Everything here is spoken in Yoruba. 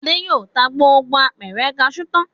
Adé yóò ta gbogbo apẹ̀rẹ̀ kaṣú tán.